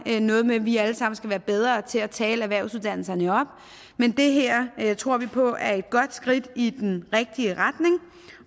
er noget med at vi alle sammen skal være bedre til at tale erhvervsuddannelserne op men det her tror vi på er et godt skridt i den rigtige retning